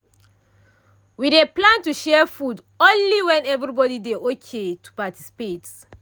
we dey plan to share food only when everybody dey ok to participate.